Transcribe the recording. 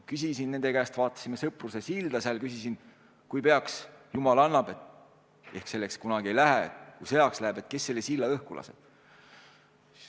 Kui me vaatasime Sõpruse silda, siis ma küsisin, et kui peaks sõjaks minema – jumal annaks, et selleks kunagi ei lähe –, siis kes selle silla õhku laseb.